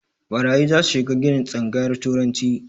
Ɓarayi zasu shiga ginin tsangayar turanci